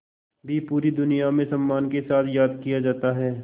भी पूरी दुनिया में सम्मान के साथ याद किया जाता है